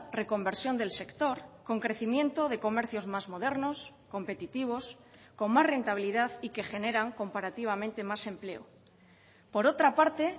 reconversión del sector con crecimiento de comercios más modernos competitivos con más rentabilidad y que generan comparativamente más empleo por otra parte